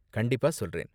கண்டிப்பா, சொல்றேன்.